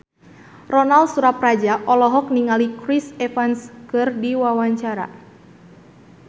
Ronal Surapradja olohok ningali Chris Evans keur diwawancara